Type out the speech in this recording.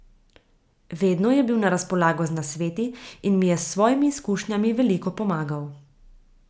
Vedno je bil na razpolago z nasveti in mi je s svojimi izkušnjami veliko pomagal.